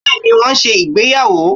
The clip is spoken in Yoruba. beeni won n se ìgbéyàwò